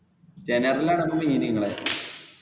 general ലാണ് അപ്പൊ main നിങ്ങളുടെ. ̥